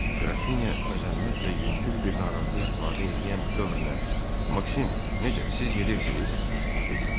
Qrafinya məzəmmət və yüngül bir narazılıq ifadə eləyən dövrlə: "Maksim, necə, siz gedirsiz?" dedi.